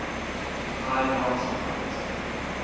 high melting point